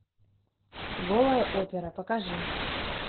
голая опера покажи